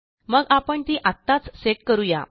मग आपण ती आत्ताच सेट करू या